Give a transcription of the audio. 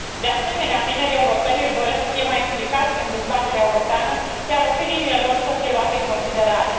De asemenea, tinerii europeni își doresc să fie mai implicați în dezbaterea europeană, iar opiniile lor să fie luate în considerare.